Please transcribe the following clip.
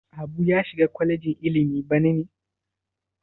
Habu ya shiga kwalejin ilimi bana ne?